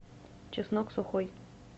чеснок сухой